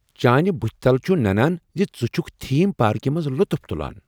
چانہِ بٗتھہِ تلہ چھٗ ننان زِ ژٕ چھٗكھ تھیم پارکہ منٛز لطف تلان۔